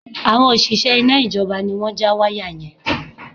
Àwọn òṣìṣẹ́ iná ìjọba ni wọ́n ja wáyà yẹn